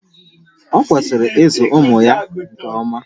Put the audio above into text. O kwesịrị ịzụ ụmụ ya nke ọma